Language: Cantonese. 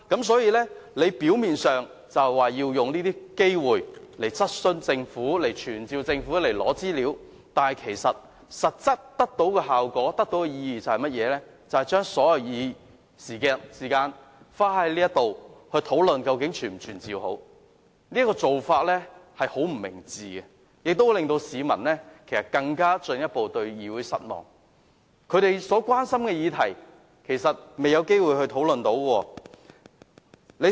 所以，表面上，他是說要藉機質詢政府，傳召官員提交資料，但其實際效果和意義就是把所有議事時間花在討論應否傳召官員，這個做法相當不明智，亦會令市民對議會更感失望，對於市民關心的議題，我們沒有機會進行討論。